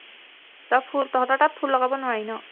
অহ ফুল তঁহতৰ তাত ফুল লগাব নোৱাৰি ন